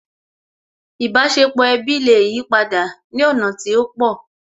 Ìbáṣepọ̀ ẹbí lè yipadà ní ọ̀nà tí ó pọ̀